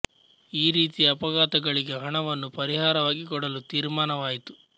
ಈ ರೀತಿಯ ಅಪಘಾತಗಳಿಗೆ ಹಣವನ್ನು ಪರಿಹಾರವಾಗಿ ಕೊಡಲು ತೀರ್ಮಾನ ವಾಯಿತು